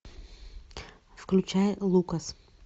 включай лукас